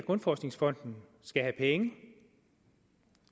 grundforskningsfond skal have penge